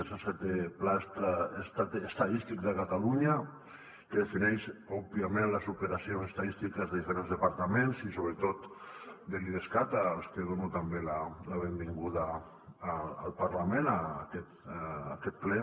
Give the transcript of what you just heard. és el setè pla estadístic de catalunya que defineix òbviament les operacions estadístiques de diferents departaments i sobretot de l’idescat als que dono també la benvinguda al parlament a aquest ple